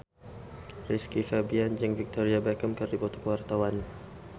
Rizky Febian jeung Victoria Beckham keur dipoto ku wartawan